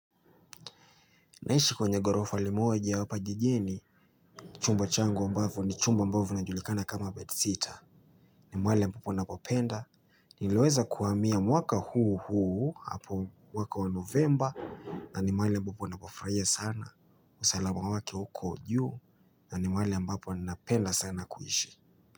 Naishi kwenye ghorofa limoja hapa jijini. Chumba changu ambavo ni chumba ambavo inajulikana kama bedsitter. Ni mwale ambapo nakopenda. Nileweza kuhamia mwaka huu huu hapo mwaka wa Novemba. Na ni mahali ambapo napafurahia sana. Usalama wake uko juu. Na ni mahali ambapo ninapenda sana kuishi.